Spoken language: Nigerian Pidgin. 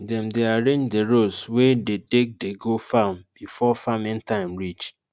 dem dey arrange d roads wey dey take dey go farm before farming time reach